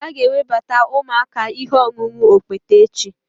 A ga-ewebata ụmụaka ihe ọṅụṅụ okpete echi